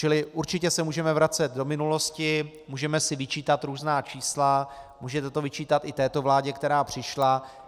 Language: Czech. Čili určitě se můžeme vracet do minulosti, můžeme si vyčítat různá čísla, můžete to vyčítat i této vládě, která přišla.